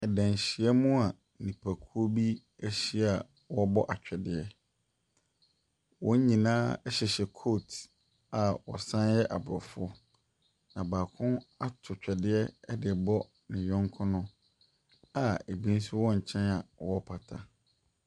Ɛdanhyiamua nnipakuo bi ɛhyia ɔrebɛ atwɛdeɛ. Wɔn nyinaa ɛhyehyɛ coat a ɔsanyɛ abrɔfo. Na baako ato twɛdeɛ ɛdebɔ ne yɔnko no a ebi nso wɔ nkyɛn a ɔrepata.